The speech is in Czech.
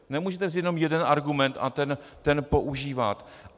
Nemůžete vzít jenom jeden argument a ten používat.